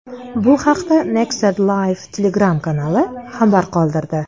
Bu haqda Nexta Live Telegram-kanali xabar qoldirdi.